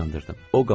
O qalxdı.